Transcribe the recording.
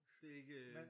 Det er ikke øh